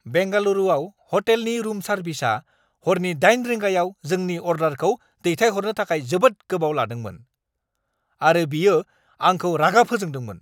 बेंगालुरुआव हटेलनि रुम सार्विसआ हरनि 8 रिंगायाव जोंनि अर्डारखौ दैथायहरनो थाखाय जोबोद गोबाव लादोंमोन, आरो बियो आंखौ रागा फोजोंदोंमोन।